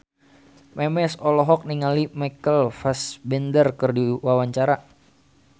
Memes olohok ningali Michael Fassbender keur diwawancara